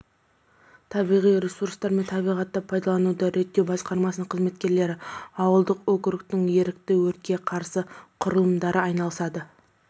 табиғи ресурстар мен табиғатты пайдалануды реттеу басқармасының қызметкерлері ауылдық округтің ерікті өртке қарсы құрылымдары айналысады